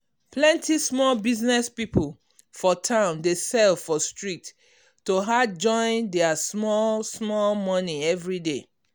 plenty small business people for town dey sell for street to add join their small small money everyday.